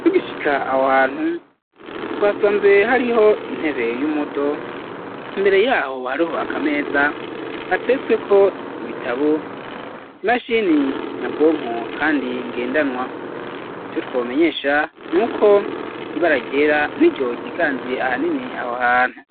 Tugishika aho hantu twasanze hariho intebe y'umudo imbere yaho hariho akameza gatiretsweko ibitabo imashini nyabwonko kandi ngendanwa ico twomenyesha nuko ibara ryera niryo ryiganziye ahanini aho hantu.